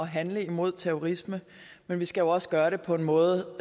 handle imod terrorisme men vi skal også gøre det på en måde